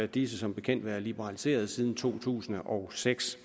disse som bekendt været liberaliseret siden to tusind og seks